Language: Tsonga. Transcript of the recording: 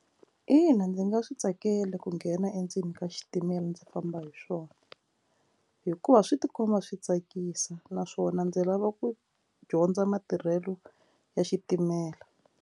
Ina ndzi nga swi tsakela ku nghena endzeni ka xitimela ndzi famba hi swona hikuva swi tikomba swi tsakisa naswona ndzi lava ku dyondza matirhelo ya xitimela.